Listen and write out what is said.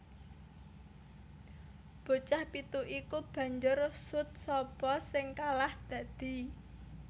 Bocah pitu iku banjur sut sapa sing kalah dadi